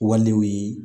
Walew ye